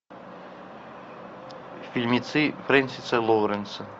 фильмецы френсиса лоуренса